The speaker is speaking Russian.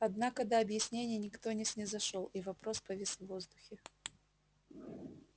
однако до объяснений никто не снизошёл и вопрос повис в воздухе